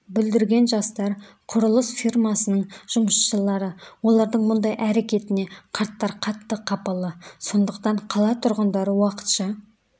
бүлдірген жастар құрылыс фирмасының жұмысшылары олардың мұндай әрекетіне қарттар қатты қапалы сондықтан қала тұрғындары уақытша